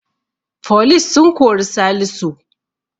Foli sun kori salisu